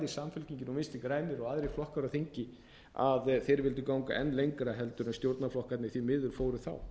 samfylkingin og vinstri grænir og aðrir flokkar á þingi að þeir vildu ganga enn lengra en stjórnarflokkarnir því miður fóru þá